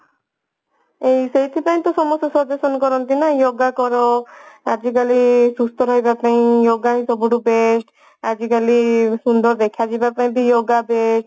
ଏଇ ସେଇଥି ପାଇଁ ତ ସମସ୍ତେ ସବୁ କରନ୍ତି ନା yoga କର ଆଜିକାଲି ସୁସ୍ତ ରହିବା ପାଇଁ yoga ହିଁ ସବୁଠୁ best ଆଜିକାଲି ସୁନ୍ଦର ଦେଖା ଯିବାପାଇଁ ବି yoga best